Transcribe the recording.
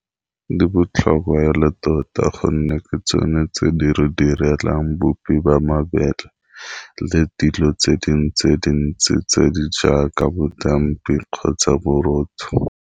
Di botlhokwa e le tota gonne ke tsone tse di re direlang bupi ba mabele, le dilo tse dintsi tse dintsi tse di jaaka bodampi kgotsa borotho.